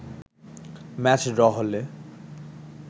match draw হলে